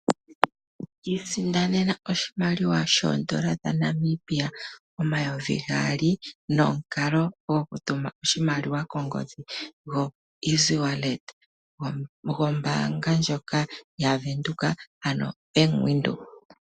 Iisindanena oshimaliwa shondola dhaNamibia omayovi gaali nomukalo gokutuma oshimaliwa kongodhi go easy wallet gombanga ndjoka ya venduka ano bank Windhoek